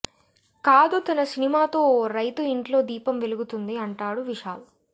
కాదు తన సినిమాతో ఓ రైతు ఇంట్లో దీపం వెలుగుతుంది అంటాడు విశాల్